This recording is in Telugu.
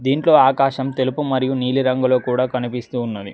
దీంట్లో ఆకాశం తెలుపు మరియు నీలిరంగులో కూడా కనిపిస్తూ ఉన్నది.